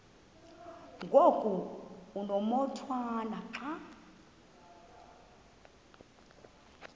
ngoku umotwana xa